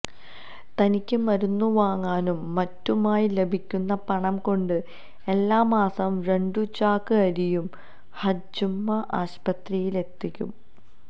തനിക്ക് മരുന്നുവാങ്ങാനും മറ്റുമായി ലഭിക്കുന്ന പണം കൊണ്ട് എല്ലാമാസവും രണ്ടുചാക്ക് അരിയും ഹജ്ജുമ്മ ആസ്പത്രിയിലെത്തിക്കും